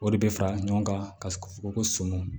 O de bɛ fara ɲɔgɔn kan ka foroko son